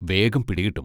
വേഗം പിടികിട്ടും.